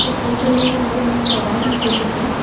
Photo में सारे लोग को अवॉर्ड्स देते हैं।